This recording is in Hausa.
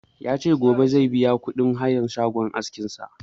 Ya ce gobe zai biya kuɗin hayan shagon askin sa